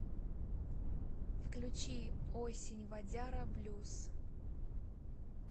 включи осень вадяра блюз